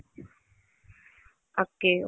okay